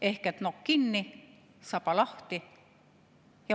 Ehk siis nokk kinni, saba lahti.